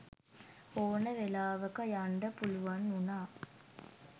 ඕන වෙලාවක යන්ඩ පුළුවන් උනා.